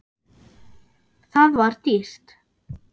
Það var dýrt.